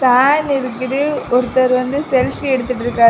Fan இருக்குது ஒருத்தர் வந்து செல்ஃபி எடுத்துட்டுருக்காரு.